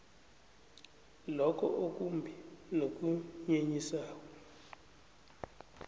lokho okumbi nokunyenyisako